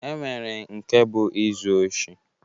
E nwere nke bụ izu oshi